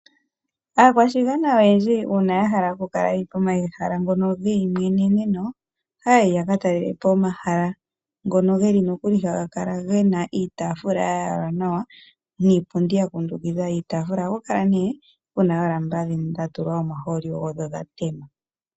Aakwashigwana oyendji uuna ya hala oku kala pomahala ngono gomayimweneneno, ohaa yi yaka talelepo omahala ngono haga kala ge na iitaafula ya yalwa nawa niipundi ya kundukidha iitaafula. Oha ku kala nee ku na oolamba dha tema nawa.